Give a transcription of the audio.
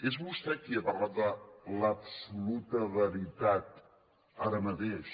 és vostè qui ha parlat de l’absoluta veritat ara mateix